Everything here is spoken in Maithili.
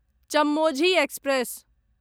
चेम्मोझी एक्सप्रेस